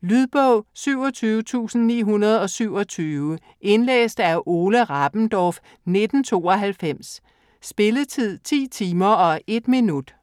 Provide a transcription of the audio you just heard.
Lydbog 27927 Indlæst af Ole Rabendorf, 1992. Spilletid: 10 timer, 1 minut.